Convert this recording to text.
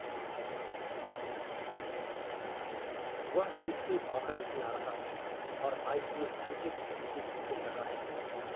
वह इससे बाहर नहीं आ रहा और आईपीएल क्रिकेट नहीं खेल रहा है